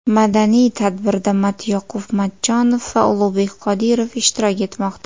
Madaniy tadbirda Matyoqub Matchonov va Ulug‘bek Qodirov ishtirok etmoqda.